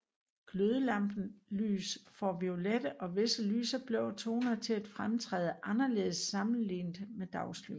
Glødelampelys får violette og visse lyse blå toner til at fremtræde anderledes sammenlignet med dagslys